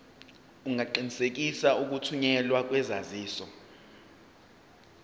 ungaqinisekisa ukuthunyelwa kwesaziso